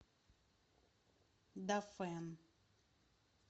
дафэн